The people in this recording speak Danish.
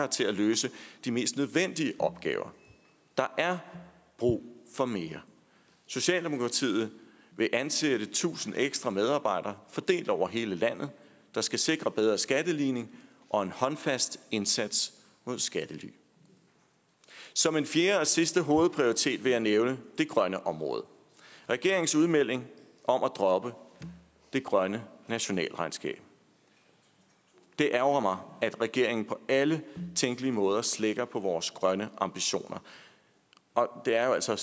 til at løse de mest nødvendige opgaver der er brug for mere socialdemokratiet vil ansætte tusind ekstra medarbejdere fordelt over hele landet der skal sikre bedre skatteligning og en håndfast indsats mod skattely som en fjerde og sidste hovedprioritet vil jeg nævne det grønne område og regeringens udmelding om at droppe det grønne nationalregnskab det ærgrer mig at regeringen på alle tænkelige måder slækker på vores grønne ambitioner og det er jo altså